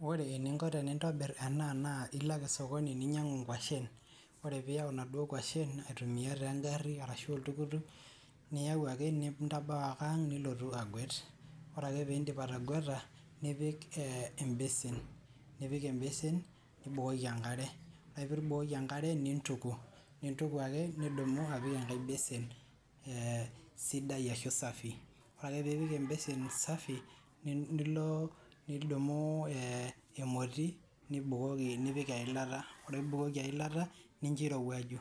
Ore eningo tenintobirr ena naa ilo ake sokoni ninyiang'u inkwashen, ore piyau inaduo kwashen aituamia taa engari arashu oltuktuk ,niyau ake nintabau ake ang nilotu agwet , ore ake pindip atagweta nipik e embesin, nipik embesin nibukoki enkare , ore ake piibukoki enkare nituku, nituku ake nidumu apik enkae besen ee sidai ashu safi , ore ake piipik embesen safi nilo nidumu ee emoti , nbukoki nipik eilata , ore piibukoki eilata nincho eirowuaju